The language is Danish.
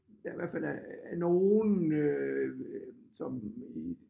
Der i hvert fald af nogle øh sådan i